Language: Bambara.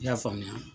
I y'a faamuya